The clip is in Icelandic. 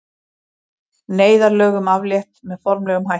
Neyðarlögum aflétt með formlegum hætti